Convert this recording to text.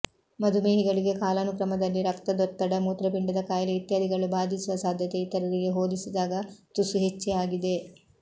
ಮಧುಮೇಹಿಗಳಿಗೆ ಕಾಲಾನುಕ್ರಮದಲ್ಲಿ ರಕ್ತದೊತ್ತಡ ಮೂತ್ರಪಿಂಡದ ಖಾಯಿಲೆ ಇತ್ಯಾದಿಗಳು ಭಾದಿಸುವ ಸಾದ್ಯತೆ ಇತರರಿಗೆ ಹೋಲಿಸಿದಾಗ ತುಸು ಹೆಚ್ಚೇ ಆಗಿದೆ